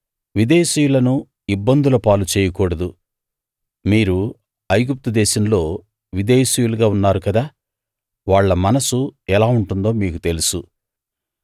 విదేశీయులను ఇబ్బందుల పాలు చేయకూడదు మీరు ఐగుప్తు దేశంలో విదేశీయులుగా ఉన్నారు కదా వాళ్ళ మనస్సు ఎలా ఉంటుందో మీకు తెలుసు